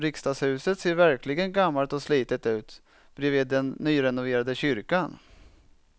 Riksdagshuset ser verkligen gammalt och slitet ut bredvid den nyrenoverade kyrkan.